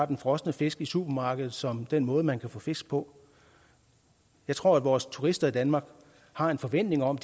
den frosne fisk i supermarkedet som den måde man kan få fisk på jeg tror vores turister i danmark har en forventning om